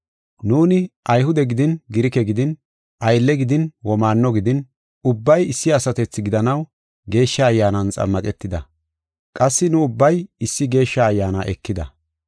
Nuuni Ayhude gidin Girike gidin aylle gidin womaanno gidin, ubbay issi asatethi gidanaw Geeshsha Ayyaanan xammaqetida. Qassi nu ubbay issi Geeshsha Ayyaana ekida.